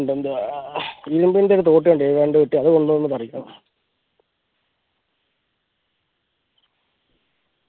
എന്തുവാ അത് കൊണ്ട് വന്ന് പറിക്കണം